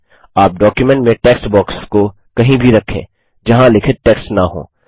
आप डॉक्युमेंट में text box को कहीं भी रखें जहाँ लिखित टेक्स्ट न हो